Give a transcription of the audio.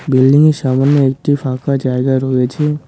বিল্ডিংয়ের সামনে একটি ফাঁকা জায়গা রয়েছে।